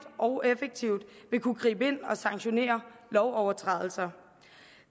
og effektivt vil kunne gribe ind og sanktionere lovovertrædelser